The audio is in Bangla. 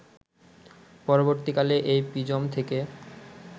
পরবর্তীকালে এই প্রিজম থেকে